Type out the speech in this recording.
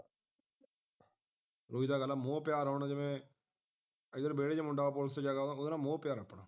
ਉਹੀ ਤੇ ਗੱਲਾਂਆ ਮੋਹ-ਪਿਆਰ ਹੁਣ ਜਿਵੇਂ ਅੰਦਰ ਵਿਹੜੇ ਦੇ ਵਿੱਚ ਮੁੰਡਾ police ਚ ਹੈਗਾ ਉਹਦੇ ਨਾਲ ਮੋਹ ਪਿਆਰ ਹੈ ਆਪਣਾ